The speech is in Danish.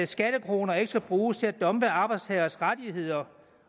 skattekroner ikke skal bruges til at dumpe arbejdstageres rettigheder